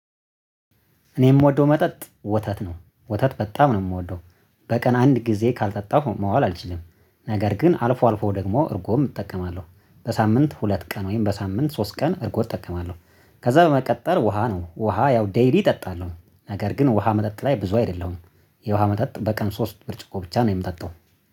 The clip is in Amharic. እኔ የምወደው መጠጥ ወተት ነው ወተት በጣም ነው የምወደው። በቀን አንድ ጊዜ ካልጠጣሁ መዋል አልችልም፣ ነገር ግን አልፎ አልፎ ደግሞ እርጎም እጠቀማለሁ። በሳምንት ሁለት ቀን ወይም በሳምንት ሶስት ቀን እርጎም እጠቀማለሁ። ከዛ በመቀጠል ውሃ ነው ውሃ ያው ዴይሊ እጠጣለሁ ነገር ግን ውሃ መጠጥ ላይ ብዙ አይደለሁም። የውሃ መጠጥ በቀን ሶስት ብርጭቆ ብቻ ነው የምጠጣው